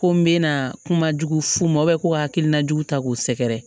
Ko n bɛna kuma jugu f'u ma ko hakilina jugu ta k'u sɛgɛrɛ